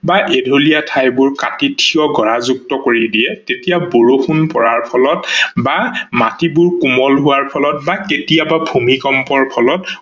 বা এধলীয়া ঠাইবোৰ কাতি থিয় গাঢ়যুক্ত কৰি দিয়ে তেতিয়া বৰষুন পৰাৰ ফলত বা মাটিবোৰ কোমল হোৱাৰ ফলত বা কেতিয়াবা ভূমিকম্পৰ ফলত